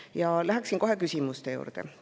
Ja lähen kohe küsimuste juurde.